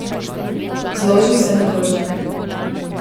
Zloži vse na krožnik!